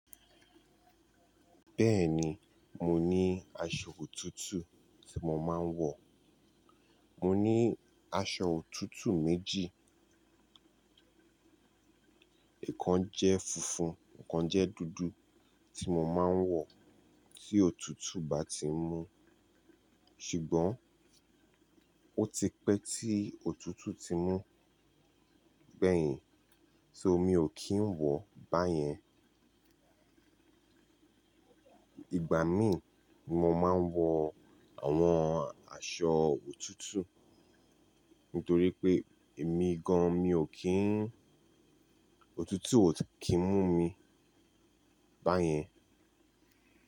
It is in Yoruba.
Bẹ́ẹ̀ni, mo ní aṣọ òtútù tí mo máa ń wọ̀. Mo ní aṣọ òtútù méjì, è kan jẹ́ funfun, è kan jẹ́ dúdú tí mo máa ń wọ̀ tí òtútù bá ti mú. Ṣùgbọ́n ó ti pẹ́ tí òtútù ti mú gbẹ̀yìn, so mi ò kí ń wọ̀ báyẹn. Ìgbà mí mo máa ń wọ àwọn aṣọ òtútù nítorí pé èmi gan-an mi ò kí ń, òtútù ò kí ń mú mi báyẹn.